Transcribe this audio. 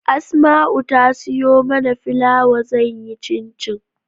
Asma'u ta siyo mana filawa zan yi cincin